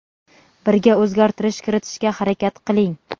birga o‘zgartirish kiritishga harakat qiling.